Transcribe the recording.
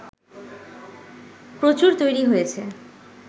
প্রচুর তৈরী হয়েছে